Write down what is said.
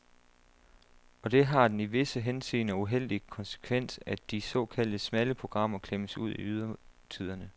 Og det har den i visse henseender uheldige konsekvens, at de såkaldte smalle programmer klemmes ud i ydertiderne.